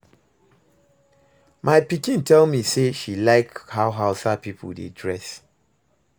My pikin tell me say she like how hausa people dey dress